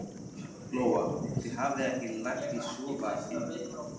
Lóa: Þið hafið ekki lagt í að sofa inni?